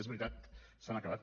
és veritat s’han acabat